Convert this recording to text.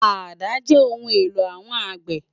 Àdá jè óoùn éló áwòn ágbè